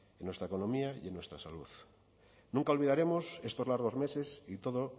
en nuestra economía y en nuestra salud nunca olvidaremos estos largos meses y todo